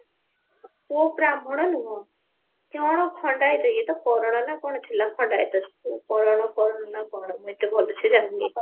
ପୁଅ ବ୍ରାହ୍ମଣ ନୁହଁ କଣ ଖଣ୍ଡାୟତ ଇଏ ତ କରଣ ନା କଣ ଅଛି ଲୋ ଖଣ୍ଡାୟତର କରଣ କରଣ ନା କଣ ମୁଁ ଏତେ ଭଲସେ ଜାଣିନି